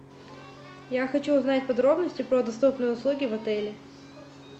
я хочу узнать подробности про доступные услуги в отеле